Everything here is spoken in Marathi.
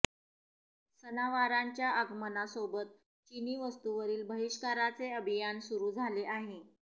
सणावारांच्या आगमनासोबत चिनी वस्तूंवरील बहिष्काराचे अभियान सुरू झाले आहे